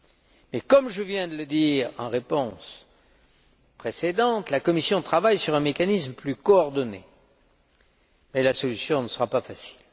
Mais comme je viens de le dire dans une réponse précédente, si la Commission travaille à un mécanisme plus coordonné, la solution ne sera pas facile.